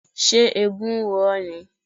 Ṣé eégún ń ro ọ́ ni?